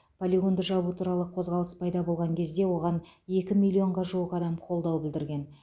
полигонды жабу туралы қозғалыс пайда болған кезде оған екі миллионға жуық адам қолдау білдірген